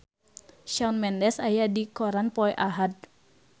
Shawn Mendes aya dina koran poe Ahad